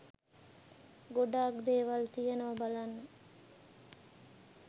ගොඩක් දේවල් තියනවා බලන්න